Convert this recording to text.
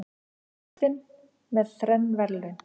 Kristinn með þrenn verðlaun